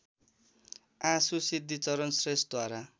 आँसु सिद्धिचरण श्रेष्ठद्वारा